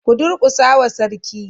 Ku durƙusa wa Sarki.